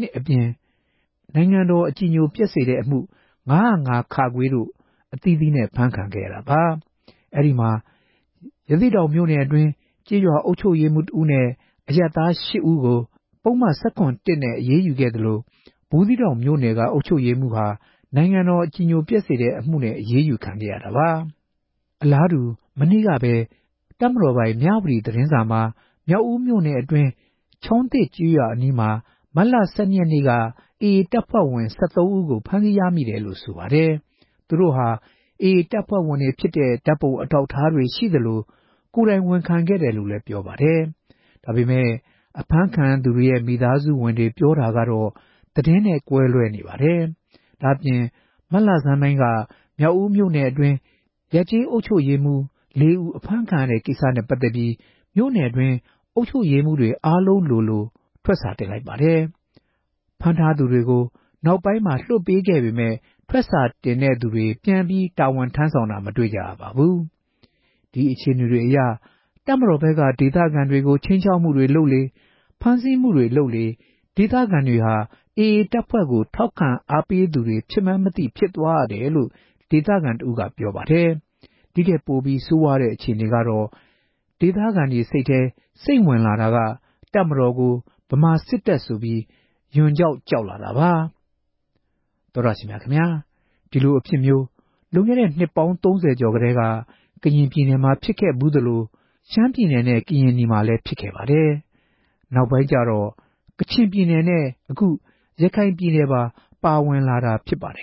၇ အပြင် နိုင်ငံတော် အကြည်ညိုပျက်စေတဲ့ အမှု ၅ဝ၅ တို့ အသီးသီး ဖြစ်ပါတယ်။ အဲဒီမှာ ရသေ့တောင် မြို့နယ်အတွင်း ကျေးရွာ အုပ်ချုပ်ရေးမှူးတဦးနဲ့ အရပ်သား ၈ဦးကို ၁၇ နဲ့ အရေးယူခံရသလို ဘူးသီးတောင် အုပ်ချုပ်ရေးမှူးဟာ နိုင်ငံတော် အကြည်ညိုပျက်စေတဲ့ အမှုနဲ့ အရေးယူခံခဲ့ရပါတယ်။ အလားတူ မနေ့ကပဲ တပ်မတော်ပိုင် မြဝတီသတင်းစာမှာ မြောက်ဦးမြို့နယ်အတွင်း ချောင်းသစ်ကျေးရွာအနီးမှာ မတ်လ ၁၂ ရက်နေ့က AA အဖွဲ့ဝင် ၁၃ ဦးကို ဖမ်းဆီးရမိတယ်လို့ ဆိုပါတယ်။ သူတို့ဟာ AA တပ်ဖွဲ့ဝင်တွေ ဖြစ်တဲ့ ဓါတ်ပုံ အထောက်အထားတွေ ရှိသလို ကိုယ်တိုင် ဝန်ခံခဲ့တယ်လို့ ဆိုပါတယ်။ ဒါပေမယ့် အဖမ်းခံရသူတွေရဲ့ မိသားစုဝင်တွေ ပြောပြတာတော့ သတင်းနဲ့ ကွဲလွဲနေပါတယ်။ ဒါ့အပြင် ပြီးခဲ့တဲ့ မတ်လဆန်းပိုင်းက မြောက်ဦးမြို့နယ်အတွင်း ရပ်ကျေး အုပ်ချုပ်ရေးမှူး ၄ဦး အဖမ်းခံရတဲ့ ကိစ္စနဲ့ ပတ်သက်ပြီး မြို့နယ်အတွင်း အုပ်ချုပ်ရေးမှူးတွေ အားလုံးလိုလို ထွက်စာတင်လိုက်ပါတယ်။ ဖမ်းထားသူကို နောက်ပိုင်းမှာ လွှတ်ပေးခဲ့ပေမယ့် ထွက်စာတင်တဲ့သူတွေ ပြန်ပြီး တာဝန်ထမ်းဆောင်တာ မတွေ့ရပါဘူး။ ဒီအခြေအနေတွေအရ တပ်မတော်ဘက်က ဒေသခံတွေကို ခြိမ်းခြောက်မှုတွေ လုပ်လေ၊ ဖမ်းဆီးမှုတွေ လုပ်လေ၊ ဒေသခံတွေဟာ AA တပ်ဖွဲ့ကို ထောက်ခံအားပေးသူတွေ ဖြစ်မှန်း မသိဖြစ်သွားရတယ်လို့ ဒေသခံတဦးက ပြောပါတယ်။ ဒီထက်ပိုပြီး ဆိုးဝါးတဲ့ အခြေအနေကတော့ ဒေသခံတွေ စိတ်ထဲစိမ့်ဝင်လာတာက တပ်မတော်ကို ဗမာစစ်တပ် ဆိုပြီး ရွံကြောက်ကြောက်လာတာပါ။ ဒီလိုအဖြစ်မျိုး လွန်ခဲ့တဲ့ နှစ်ပေါင်း ၃ဝကျော်ကတည်းက ကရင်ပြည်နယ်မှာ ဖြစ်ခဲ့သလို ရှမ်းပြည်နယ်နဲ့ ကရင်နီမှာလည်း ဖြစ်ခဲ့ပါတယ်။ နောက်ပိုင်းကျတော့ ကချင်ပြည်နယ်နဲ့ ခု ရခိုင်ပြည်နယ်ပါ ပါဝင်လာတာဖြစ်ပါတယ်